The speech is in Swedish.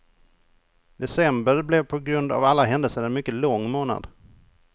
December blev på grund av alla händelser en mycket lång månad.